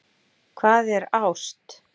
Hvað er ást